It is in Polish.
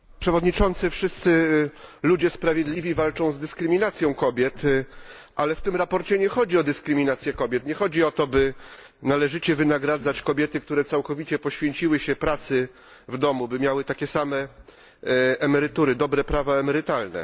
Panie Przewodniczący! Wszyscy ludzie sprawiedliwi walczą z dyskryminacją kobiet, ale w tym sprawozdaniu nie chodzi o dyskryminację kobiet, nie chodzi o to, by należycie wynagradzać kobiety, które całkowicie poświęciły się pracy w domu, by miały takie same emerytury, dobre prawa emerytalne.